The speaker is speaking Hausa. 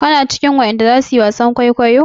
Kina cikin wadan da zasu yi wasan kwaikwayo?